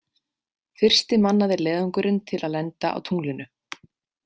Fyrsti mannaði leiðangurinn til að lenda á tunglinu.